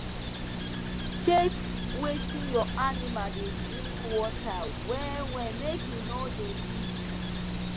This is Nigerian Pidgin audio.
check wetin ur animal da drink water wella make e no da leak